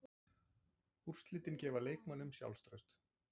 Úrslitin gefa leikmönnunum sjálfstraust.